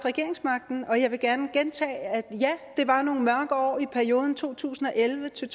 regeringsmagten og jeg vil gerne gentage at ja det var nogle mørke år i perioden to tusind og elleve til